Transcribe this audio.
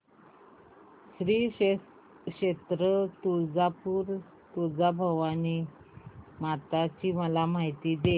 श्री क्षेत्र तुळजापूर तुळजाभवानी माता ची मला माहिती दे